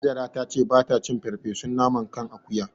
Hajara ta ce ba ta cin farfesun naman kan akuya.